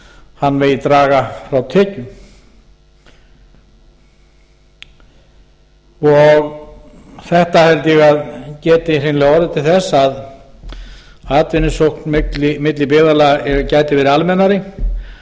hann megi draga frá tekjum þetta held ég að geti hreinlega orðið til þess að atvinnusókn milli byggðarlaga gæti verið almennari